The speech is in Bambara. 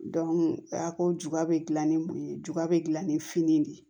a ko juba bɛ gilan ni mun ye juga bɛ dilan ni fini de ye